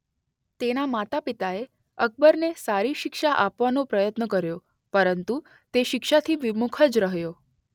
તેના માતા પિતાએ અકબરને સારી શિક્ષા આપવાનો પ્રયત્ન કર્યો પરંતુ તે શિક્ષાથી વિમુખ જ રહ્યો.